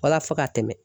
Walasa ka tɛmɛ